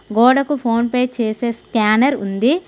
గోడకు PhonePe చేసే scanner ఉంది.